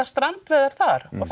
strandveiðar þar og